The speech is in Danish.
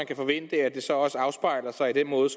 kan forventes at det så også afspejler sig i den måde